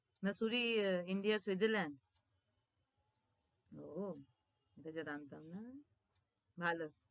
mussoorie india এর switzerland? ও সেটা তো জানতাম না ভালো।